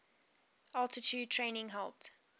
altitude training helped